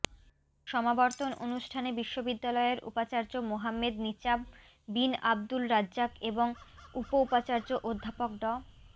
সমাবর্তন অনুষ্ঠানে বিশ্ববিদ্যালয়ের উপাচার্য মোহাম্মেদ নিচাম বিন আবদুল রাজ্জাক এবং উপ উপাচার্য অধ্যাপক ড